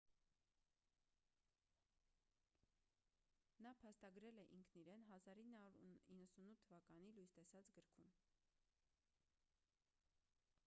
նա փաստագրել է ինքն իրեն 1998 թ լույս տեսած գրքում